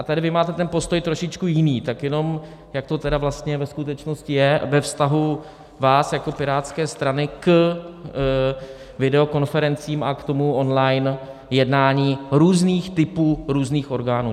A tady vy máte ten postoj trošičku jiný, tak jenom jak to tedy vlastně ve skutečnosti je ve vztahu vás jako Pirátské strany k videokonferencím a k tomu online jednání různých typů různých orgánů.